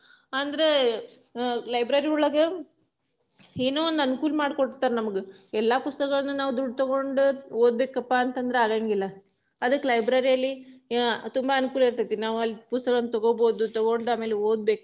ಅಂದ್ರೆ ಅಹ್ library ಒಳಗ ಏನೊ ಒಂದ ಅನುಕೂಲ ಮಾಡಿ ಕೊಡ್ತಾರ ನಮ್ಗ, ಎಲ್ಲಾ ಪುಸ್ತಕಗಳನ್ನ ನಾವ್ ದುಡ್ಡ ತೊಗೊಂಡ ಓದಬೇಕಪಾ ಅಂತಂದ್ರ ಆಗಂಗಿಲ್ಲಾ, ಅದಕ್ಕ library ಅಲ್ಲಿ ತುಂಬಾ ಅನುಕೂಲ ಇರತೇತಿ ನಾವ ಅಲ್ಲಿ ಪುಸ್ತಕಗಳನ್ನ ತೊಗೋಬಹುದು ತಗೊಂಡ ಆಮೇಲೆ ಓದ್ಬೇಕ.